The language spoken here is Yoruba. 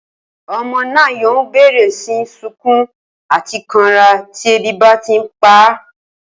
O̩mo̩ náà yóò bè̩rè̩ sí ní sunkún àti kanra tí ebi bá ti ń pa á